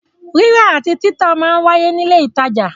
Rírà àti títà máa ń wáyé ní ilé ìtajà.